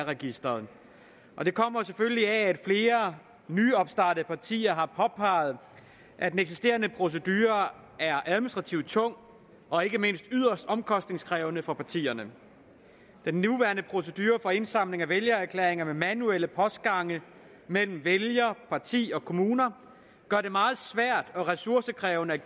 registeret det kommer selvfølgelig af at flere nyopstartede partier har påpeget at den eksisterende procedure er administrativt tung og ikke mindst yderst omkostningskrævende for partierne den nuværende procedure for indsamling af vælgererklæringer med manuelle postgange mellem vælger parti og kommuner gør det meget svært og ressourcekrævende